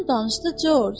Ondan danışdı, George.